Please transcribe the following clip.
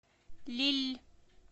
лилль